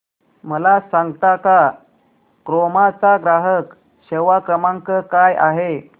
मला सांगता का क्रोमा चा ग्राहक सेवा क्रमांक काय आहे